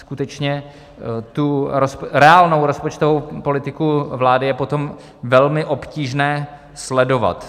Skutečně tu reálnou rozpočtovou politiku vlády je potom velmi obtížné sledovat.